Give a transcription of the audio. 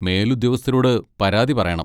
മേലുദ്യോഗസ്ഥരോട് പരാതി പറയണം.